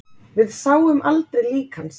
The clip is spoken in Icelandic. Við sáum aldrei lík hans